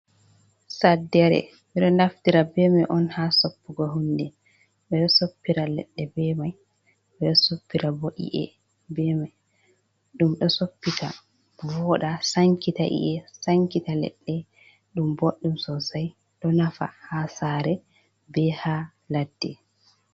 Saddere ɓeɗo naftira be mai on ha soppugo hunde, ɓeɗo soppira leɗɗe be mai, ɓeɗo soppira bo i’e be mai, ɗum ɗo soppita voɗa sankita i’e, sankita ledde ɗum boɗɗum sosai ɗo nafa ha sare be ha ladde.